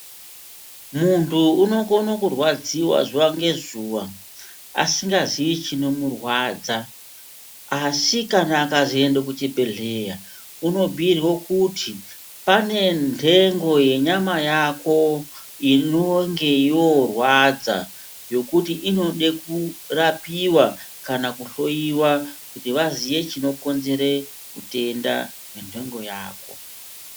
Muntu unokona kurwadziwa zuva ngezuva asingazivi chinomurwadza. Asi kana akazoenda kuchibhedhleya unobhuirwe kuti pane ndengo yenyama yako inonge yorwadza ,yokuti inode kurapiwa kana kuhloyiwa kuti vazive chinokonzere utenda wendengo yako.